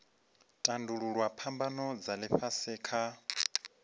tandululwa phambano dza ifhasi kha